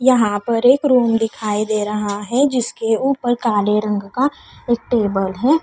यहां पर एक रूम दिखाई दे रहा है जिसके ऊपर काले रंग का एक टेबल है।